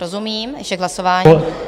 Rozumím, ještě k hlasování.